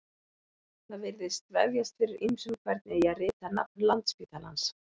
Það virðist vefjast fyrir ýmsum hvernig eigi að rita nafn Landspítalans.